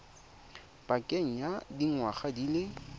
pakeng ya dingwaga di le